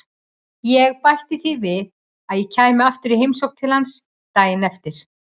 Ég bætti því við að ég kæmi aftur í heimsókn til hans daginn eftir.